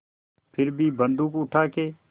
फिर भी बन्दूक उठाके